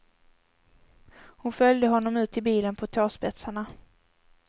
Hon följde honom ut till bilen på tåspetsarna.